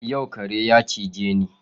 Yau kare ya cije ni